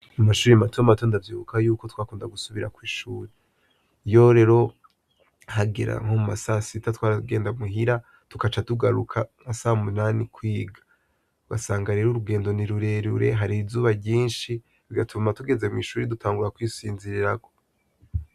Mu mashure mato mato ndavyibuka yuko twakunda gusubira kw'ishure. Iyo rero hagera nko mu ma sasita, twaragenda muhira tugaca tugaruka nka saa munani kwiga. Ugasanga rero urugendo ni rurerure, har'izuba ryinshi, bigatuma tugeze mw'ishure dutangura kwisinzirirako.